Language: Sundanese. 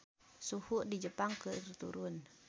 Suhu di Jepang keur turun